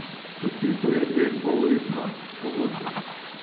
Podpisal je dveinpolletno pogodbo.